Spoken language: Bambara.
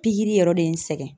Pikiri yɔrɔ de ye n sɛgɛn.